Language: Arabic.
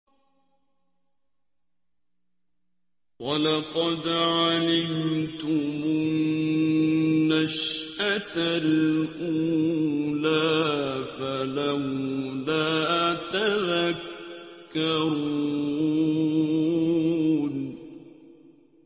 وَلَقَدْ عَلِمْتُمُ النَّشْأَةَ الْأُولَىٰ فَلَوْلَا تَذَكَّرُونَ